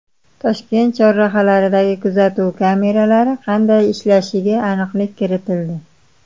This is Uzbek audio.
Toshkent chorrahalaridagi kuzatuv kameralari qanday ishlashiga aniqlik kiritildi.